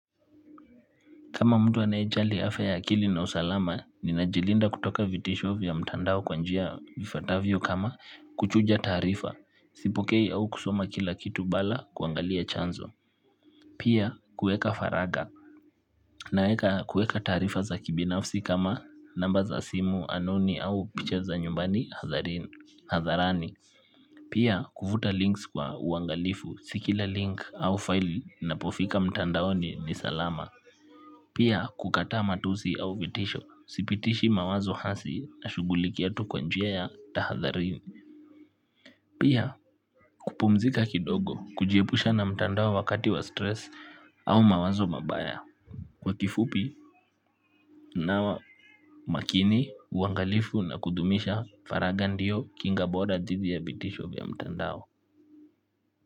Kama mtu anayejali afya ya akili na usalama, ninajilinda kutoka vitisho vya mtandao kwa njia ifatavyo kama kuchuja taarifa, sipokei au kusoma kila kitu bala kuangalia chanzo. Pia kueka haraka naeka kueka taarifa za kibinafsi kama namba za simu anoni au picha za nyumbani hadharani. Pia kufuta links kwa uangalifu si kila link au file inapofika mtandaoni ni salama. Pia kukataa matusi au vitisho, sipitishi mawazo hasi nashugulikia tu kwa njia ya tahadharini. Pia kupumzika kidogo, kujiepusha na mtandao wakati wa stress au mawazo mabaya. Kwa kifupi, nawa makini, uangalifu na kudumisha, faraga ndiyo kinga bora dhidi ya vitisho vya mtandao.